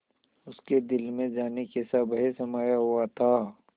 उसके दिल में जाने कैसा भय समाया हुआ था